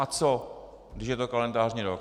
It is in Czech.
A co že je to kalendářní rok?